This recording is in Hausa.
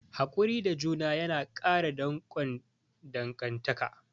Hakuri da juna yana ƙara danƙon dangantaka.